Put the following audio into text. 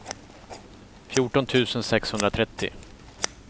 fjorton tusen sexhundratrettio